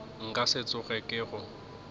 nka se tsoge ke go